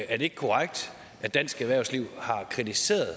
er det ikke korrekt at dansk erhvervsliv har kritiseret